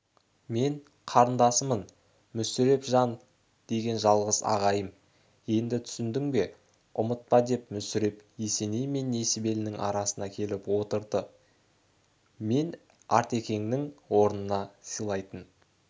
мен қарындасымын мүсіреп жан деген жалғыз ағайым енді түсіндің бе ұмытпа деп мүсіреп есеней мен несібелінің арасынан келіп отырды мен артекеңнің орнына сыйлайтын